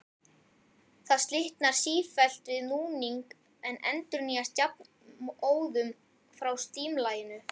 Það slitnar sífellt við núning en endurnýjast jafnóðum frá slímlaginu.